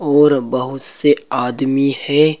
और बहुत से आदमी है।